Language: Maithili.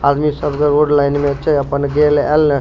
आदमी सब रोड में लाइन में छै अपन गेल ऐल ने --